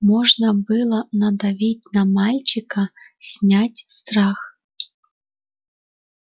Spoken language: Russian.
можно было надавить на мальчика снять страх